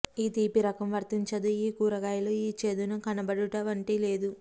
ఈ తీపి రకం వర్తించదు ఈ కూరగాయల ఈ చేదును కనపడడు వంటి లేదు